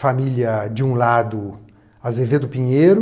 Família, de um lado, Azevedo Pinheiro,